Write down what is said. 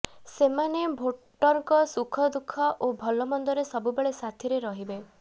ସେମାନେ ଭୋଟରଙ୍କ ସୁଖଦୁଃଖ ଓ ଭଲ ମନ୍ଦରେ ସବୁବେଳେ ସାଥିରେ ରହିବେ